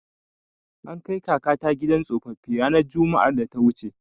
An kai kakata gidan tsofaffi ranar Juma'ar da ta wuce.